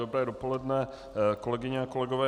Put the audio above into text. Dobré dopoledne, kolegyně a kolegové.